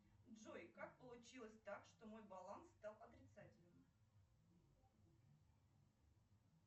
джой как получилось так что мой баланс стал отрицательным